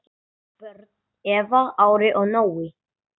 Börn: Eva, Ari og Nói.